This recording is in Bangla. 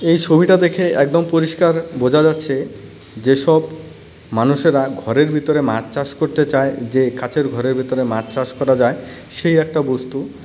এই ছবিটা দেখে একদম পরিষ্কার বোঝা যাচ্ছে যেসব মানুষেরা ঘরের ভিতের মাছ চাষ করতে চায় যে কাচের ঘরের ভেতরে মাছ চাষ করা যায় সেই একটা বস্তু.